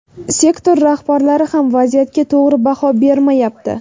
Sektor rahbarlari ham vaziyatga to‘g‘ri baho bermayapti.